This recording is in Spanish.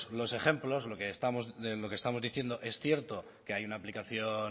los ejemplos lo que estamos diciendo es cierto que hay una aplicación